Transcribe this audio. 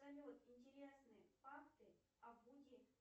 салют интересные факты о вуди